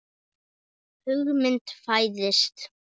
Hugmynd fæðist.